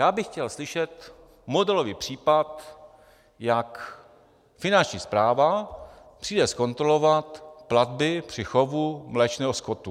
Já bych chtěl slyšet modelový případ, jak Finanční správa přijde zkontrolovat platby při chovu mléčného skotu.